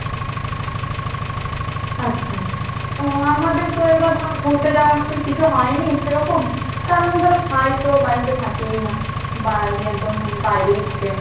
আচ্ছা, তো আমাদের তো এবার ধরো ঘুরতে যাবার মতন কিছু হয়নি সেরকম, কারণ ধরো ভাই তো বাড়িতে থাকেই না ভাই একদম মানে বাইরেই থাকে।